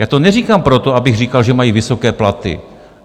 Já to neříkám proto, abych říkal, že mají vysoké platy.